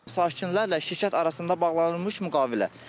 Sakinlərlə şirkət arasında bağlanılmış müqavilə.